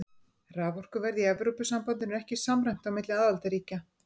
Raforkuverð í Evrópusambandinu er ekki samræmt á milli aðildarríkja.